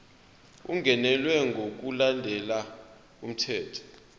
ungenelwe ngokulandela umthetho